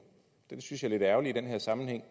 det synes jeg er lidt ærgerligt i den her sammenhæng